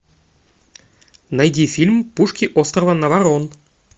найди фильм пушки острова наварон